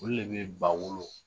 Olu de tun bɛ ba wolo